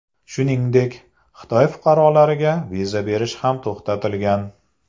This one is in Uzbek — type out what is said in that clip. Shuningdek, Xitoy fuqarolariga viza berish ham to‘xtatilgan.